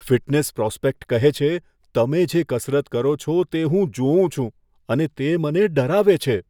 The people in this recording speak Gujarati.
ફિટનેસ પ્રોસ્પેક્ટ કહે છે, તમે જે કસરત કરો છો તે હું જોઉં છું અને તે મને ડરાવે છે.